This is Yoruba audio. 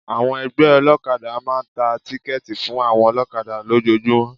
Àwọn ẹgbẹ́ olọ́kadà máa ń tà tíkẹ́tì fún àwọn olọ́kadà lójọọjúmọ́.